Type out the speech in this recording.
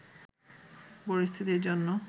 পরিস্থিতির জন্য